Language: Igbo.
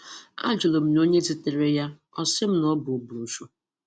A jụrụ m ya ọnye zitere ya, ọ sị m n’ọbu Obrocho.